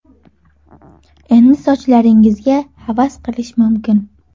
Endi sochlaringizga havas qilish mumkin!